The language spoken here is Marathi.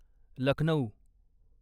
लखनौ